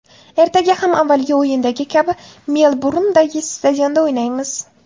Ertaga ham avvalgi o‘yindagi kabi Melburndagi stadionda o‘ynaymiz.